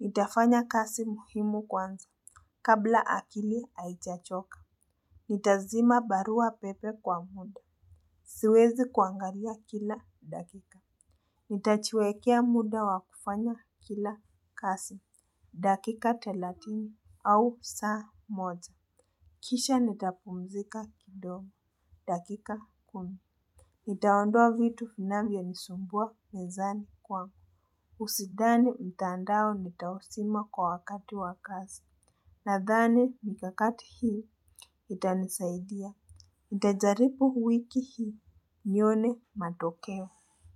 Nitafanya kazi muhimu kwanza kabla akili haijachoka. Nitazima barua pepe kwa muda. Siwezi kuangalia kila dakika. Nitajiwekea muda wa kufanya kila kazi. Dakika thelathini au saa moja. Kisha nitapumzika kidogo. Dakika kumi. Nitaondoa vitu vinavyonisumbua mezani kwa. Usidhani mtandao nitauzima kwa wakati wakazi. Nadhani nikakati hii itanisaidia. Nitajaribu wiki hii. Nione matokeo.